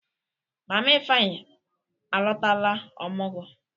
Mama Ifeanyi alọtala ọmụgwọ.